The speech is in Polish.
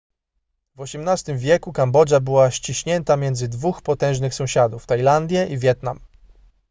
w xviii wieku kambodża była ściśnięta między dwóch potężnych sąsiadów tajlandię i wietnam